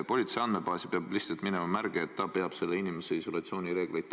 Politsei andmebaasi peab lihtsalt minema märge, et ta peab jälgima, kas see inimene täidab isolatsioonireegleid.